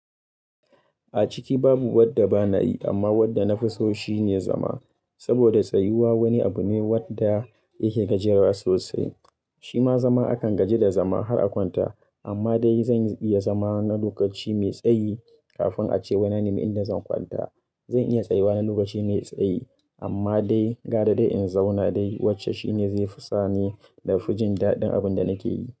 A ciki babu wadda ba na yi, amma wadda na fi so shine zama. Saboda tsayuwa wani abu ne wadda yake gajiyarwa sosai. Shima zama akan gaji da zama har a kwanta. Amma dai zan iya zama na lokaci mai tsayi, kafin a ce wai na nemi inda zan kwanta. Zan iya tsayuwa na lokaci mai tsayi amma dai gara dai in zauna dai wacce shine zai fisa ni na fujin daɗin abunda nake yi.